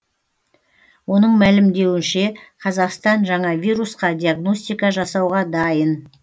оның мәлімдеуінше қазақстан жаңа вирусқа диагностика жасауға дайын